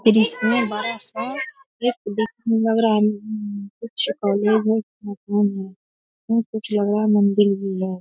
फिर इसमे बड़ा-सा एक देखने में लग रहा है अम कुछ है अम कुछ कॉलेज है कुछ लग रहा मंदिर भी है |